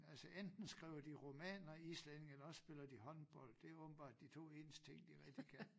Altså enten skriver de romaner islændinge eller også spiller de håndbold det åbenbart de 2 eneste ting de rigtig kan